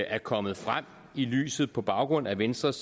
er kommet frem i lyset på baggrund af venstres